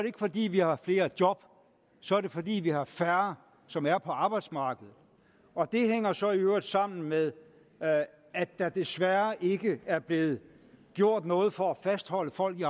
ikke fordi vi har flere job så er det fordi vi har færre som er på arbejdsmarkedet det hænger så i øvrigt sammen med at der desværre ikke er blevet gjort noget for at fastholde folk i